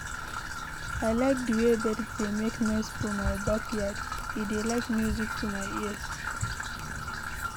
I like de way birds dey make noise for my backyard, e dey like music to my ears.